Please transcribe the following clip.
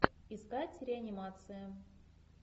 искать реанимация